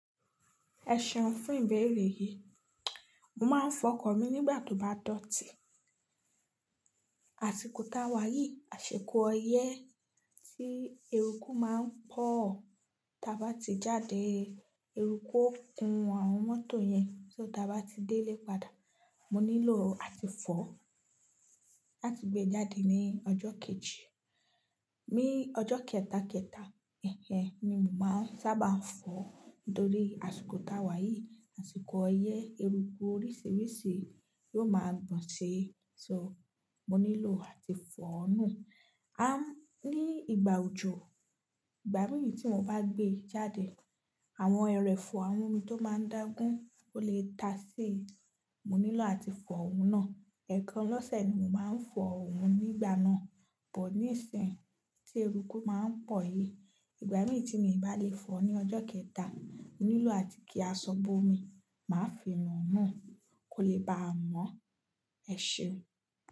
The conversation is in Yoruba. Ẹ ṣeun fún ìbéèrè yìí. Mo máa ń fọkọ̀ mi nígbà tó bá dọ̀tí. Àsiko t'áwáyi, àsìkò ọyẹ́ tí eruku máa ń pọ̀, tí a bá ti jáde, eruku ó kun àwọn mọ́tò yẹn, so t'abá ti délé padà. Mo nílò àti fọ̀ láti gbé jáde ní ọjọ́ kejì. Ni ọjọ́ kẹtàkẹtà, ẹhẹ́n ni mo máa sábà ń fọ̀ nítorí àsìkò t'áwáyi, àsìkò ọyẹ́, eruku oríṣìíríṣìí yóò máa gbọ̀n ṣe, ṣo, mo nílò àti fọ̀ nù. Á, ní ìgbà òjò, ìgbà mìíràn tí mo bá gbé jáde, àwọn ẹrẹ̀fọ̀ àwọn omi tó máa ń dágún, ó lè ta sí i, mo nílò àti fọ̀ òun náà. Ẹ̀ẹ̀kan lọ́sẹ̀ ni mo máa ń fọ òun nígbà náà. Bọ̀ níìsín, tí eruku máa ń pọ̀ yìí, ìgbà mìí tí mi ò bá lè fọ ní ọjọ́ kẹta, mo nílò àti kí aṣọ bómì, máa fi nù nu kó lè ba mọ́. Ẹ ṣeun.